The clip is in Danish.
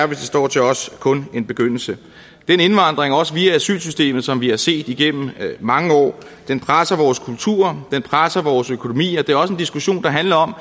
det står til os kun en begyndelse den indvandring også via asylsystemet som vi har set igennem mange år presser vores kultur presser vores økonomi og det er også en diskussion der handler om at